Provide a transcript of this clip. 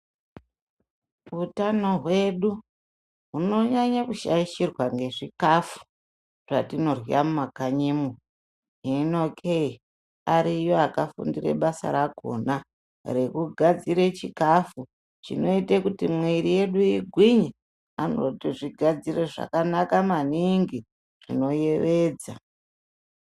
Hutano hwedu hunonyanyo shaishirwa ngezvichikafu chatodya mumakanyimo hino keyi ariyo akafundira basa rakona rekugadzira chikafu chinota kuti miri yedu igwinye anozvigadzira zvakanaka maningi zvinoyevedza.